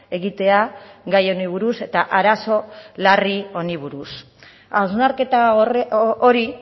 egitea gai honi buruz eta arazo larri honi buruz hausnarketa hori